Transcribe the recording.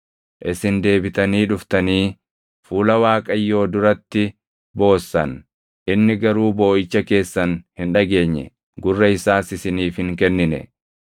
Isin deebitanii dhuftanii fuula Waaqayyoo duratti boossan; inni garuu booʼicha keessan hin dhageenye; gurra isaas isiniif hin kennine.